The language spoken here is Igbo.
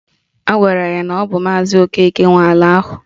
Agwara ya na ọ bụ maazi Okeke nwe ala ahụ